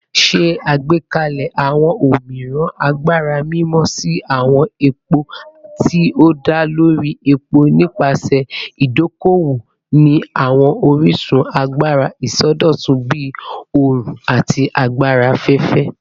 Ṣe agbekalẹ awọn omiiran agbara mimọ si awọn epo ti o da lori epo nipasẹ idoko-owo ni awọn orisun agbara isọdọtun bii oorun ati agbara afẹfẹ